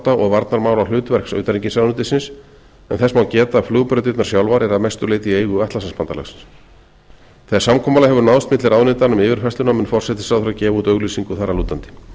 varnarþátta og varnarmálahlutverks utanríkisráðuneytisins en þess má geta að flugbrautirnar sjálfar eru að mestu leyti í eigu atlantshafsbandalagsins þegar samkomulag hefur náðst milli ráðuneytanna um yfirfærsluna mun forsætisráðherra gefa út auglýsingu þar að lútandi